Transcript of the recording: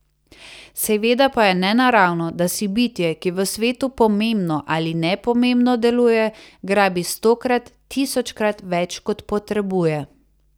Seveda pa je nenaravno, da si bitje, ki v svetu pomembno ali nepomembno deluje, grabi stokrat, tisočkrat več kot potrebuje.